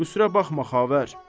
Qüsurə baxma xavər.